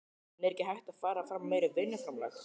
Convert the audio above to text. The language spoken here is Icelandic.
En er ekki hægt að fara fram á meira vinnuframlag?